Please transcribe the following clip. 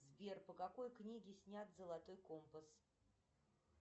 сбер по какой книге снят золотой компас